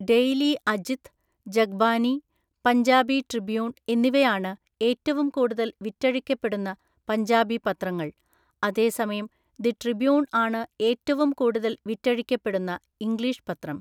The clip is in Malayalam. ഡെയ്‌ലി അജിത്, ജഗ്ബാനി, പഞ്ചാബി ട്രിബ്യൂൺ എന്നിവയാണ് ഏറ്റവും കൂടുതൽ വിറ്റഴിക്കപ്പെടുന്ന പഞ്ചാബി പത്രങ്ങൾ, അതേസമയം ദി ട്രിബ്യൂൺ ആണ് ഏറ്റവും കൂടുതൽ വിറ്റഴിക്കപ്പെടുന്ന ഇംഗ്ലീഷ് പത്രം.